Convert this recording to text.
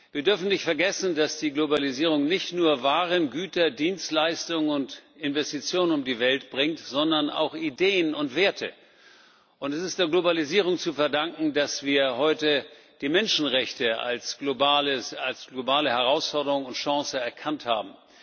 Wir dürfen nicht vergessen, dass die Globalisierung nicht nur Waren, Güter, Dienstleistungen und Investitionen um die Welt bringt, sondern auch Ideen und Werte. Es ist der Globalisierung zu verdanken, dass wir heute die Menschenrechte als globale Herausforderung und Chance erkannt haben.